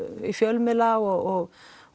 í fjölmiðla og